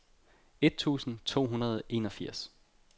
et tusind to hundrede og enogfirs